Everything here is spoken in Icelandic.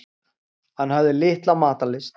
Hann hafði litla matarlyst.